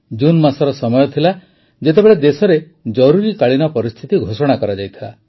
ଜୁନ ମାସର ସମୟ ଥିଲା ଯେତେବେଳେ ଦେଶରେ ଜରୁରୀକାଳୀନ ପରିସ୍ଥିତି ଘୋଷଣା କରାଯାଇଥିଲା